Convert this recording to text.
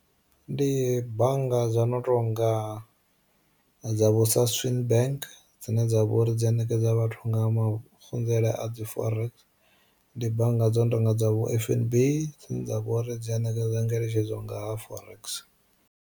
Ndi bannga dza no tonga dza vho Saswin bank dzine dza vha uri dzi a ṋekedza vhathu nga mafunzelele a dzi forex, ndi bannga dzo no tonga dza vho F_N_B dzine dza vha uri dzi a ṋekedza ngeletshedzo nga ha forex.